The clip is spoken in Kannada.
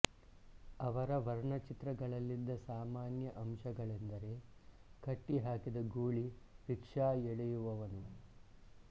ಅವರ ವರ್ಣಚಿತ್ರಗಳಲ್ಲಿದ್ದ ಸಾಮಾನ್ಯ ಅಂಶಗಳೆಂದರೆ ಕಟ್ಟಿಹಾಕಿದ ಗೂಳಿ ರಿಕ್ಷಾ ಎಳೆಯುವವನು